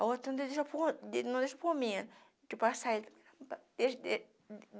A outra não deixou não deixou por mim. De passar ele